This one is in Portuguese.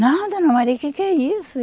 Não, dona Maria, que que é isso?